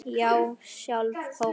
Já, sjálf Kókó